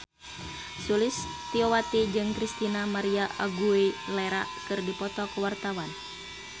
Sulistyowati jeung Christina María Aguilera keur dipoto ku wartawan